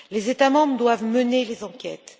Les États membres doivent mener les enquêtes.